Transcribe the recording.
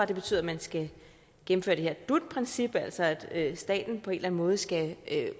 det betyder at man skal gennemføre det her dut princip altså at staten på en eller anden måde skal